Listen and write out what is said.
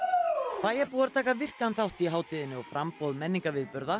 bæjarbúar taka virkan þátt í hátíðinni og framboð menningarviðburða